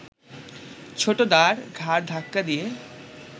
ছোটদার ঘাড় ধাক্কা দিয়ে